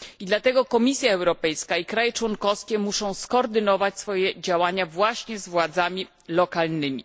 Dlatego Komisja Europejska i państwa członkowskie muszą skoordynować swoje działania właśnie z władzami lokalnymi.